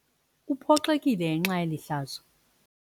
Uphoxekile ngenxa yeli hlazo.